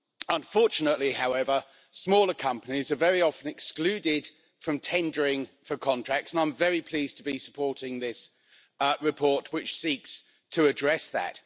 Unfortunately, however, smaller companies are very often excluded from tendering for contracts, and I'm very pleased to be supporting this report, which seeks to address that.